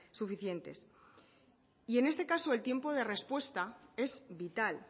suficientes y en este caso el tiempo de respuesta es vital